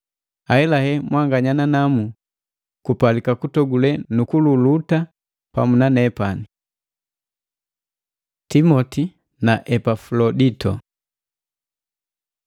Ahelahela, mwanganya nanamu kupalika kutogule nukululuta pamu na nepani. Timoti na Epafulodito